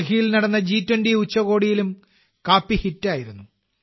ഡൽഹിയിൽ നടന്ന ജി 20 ഉച്ചകോടിയിലും കാപ്പി ഹിറ്റായിരുന്നു